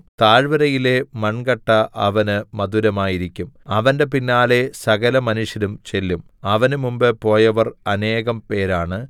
താഴ്വരയിലെ മണ്‍കട്ട അവന് മധുരമായിരിക്കും അവന്റെ പിന്നാലെ സകലമനുഷ്യരും ചെല്ലും അവന് മുമ്പ് പോയവർ അനേകം പേരാണ്